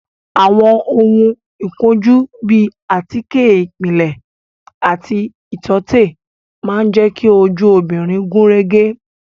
Àwọn ohun ìkojú bíi àtíkè ìpìlẹ̀ àti ìtọ́tè máa jẹ ki ojú obìnrin gúnrégé